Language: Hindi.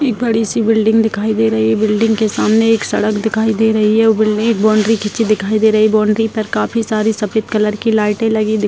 एक बड़ी-सी बिल्डिंग दिखाई दे रही है | बिल्डिंग के सामने एक सड़क दिखाई दे रही है | बाउंड्री खींची दिखाई दे रही है बाउंड्री पर काफी सारे सफ़ेद कलर की लाइटे लगी दिख --